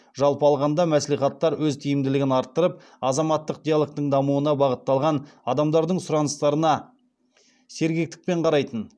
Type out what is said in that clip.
жалпы алғанда мәслихаттар өз тиімділігін арттырып азаматтық диалогтың дамуына бағытталған адамдардың сұраныстарына сергектікпен қарайтын